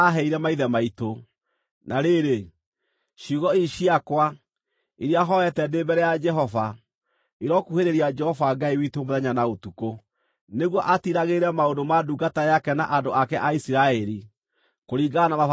Na rĩrĩ, ciugo ici ciakwa, iria hooete ndĩ mbere ya Jehova, irokuhĩrĩria Jehova Ngai witũ mũthenya na ũtukũ, nĩguo atiiragĩrĩre maũndũ ma ndungata yake na andũ ake a Isiraeli, kũringana na mabataro ma o mũthenya,